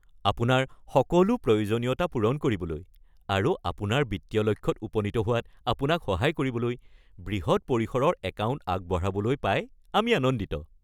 আপোনাৰ সকলো প্ৰয়োজনীয়তা পূৰণ কৰিবলৈ আৰু আপোনাৰ বিত্তীয় লক্ষ্যত উপনীত হোৱাত আপোনাক সহায় কৰিবলৈ বৃহৎ পৰিসৰৰ একাউণ্ট আগবঢ়াবলৈ পাই আমি আনন্দিত।